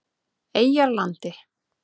Eyjarlandi